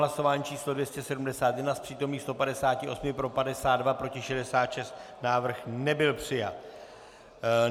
Hlasování číslo 271, z přítomných 158 pro 52, proti 66, návrh nebyl přijat.